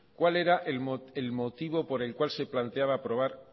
cuál era el motivo por el cual se planteaba aprobar